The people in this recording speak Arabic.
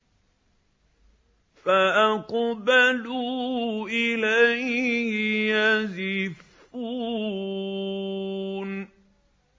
فَأَقْبَلُوا إِلَيْهِ يَزِفُّونَ